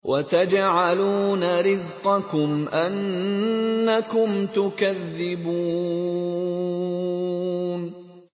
وَتَجْعَلُونَ رِزْقَكُمْ أَنَّكُمْ تُكَذِّبُونَ